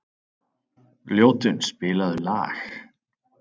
Ljótunn, spilaðu lag.